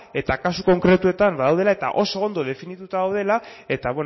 eta kasu konkretuetan daudela eta oso ondo definituta daudela eta